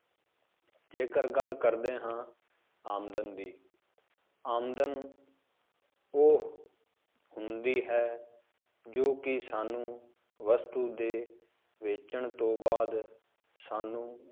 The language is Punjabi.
ਜੇਕਰ ਗੱਲ ਕਰਦੇ ਹਾਂ ਆਮਦਨ ਦੀ ਆਮਦਨ ਉਹ ਹੁੰਦੀ ਹੈ, ਜੋ ਕਿ ਸਾਨੂੰ ਵਸਤੂ ਦੇ ਵੇਚਣ ਤੋਂ ਬਾਅਦ ਸਾਨੂੰ